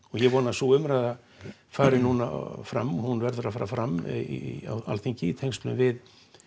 ég vona að sú umræða fari núna fram hún verður að fara fram á Alþingi í tengslum við